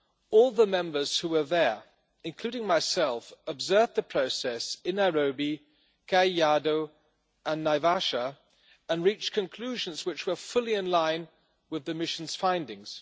All the Members who were there, including myself, observed the process in Nairobi, Kajiado and Naivasha and reach conclusions which were fully in line with the mission's findings.